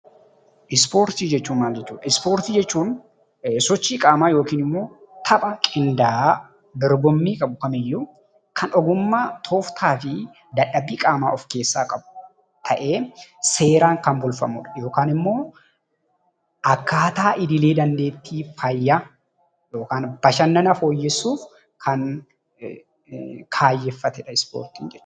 Ispoortii jechuun maal jechuudha? Ispoortii jechuun sochii qaamaa yookiin immoo tapha qindaa'aa dorgommii qabu kamiyyuu kan ogummaa, tooftaa fi dadhabbii qaamaa of keessaa qabu ta'ee, seeraan kan tolfamudha. Akkaataa idilee, daandeettii fi fayyaa akkasumas bashannana fooyyessuuf kan kaayyeffatedha.